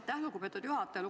Aitäh, lugupeetud juhataja!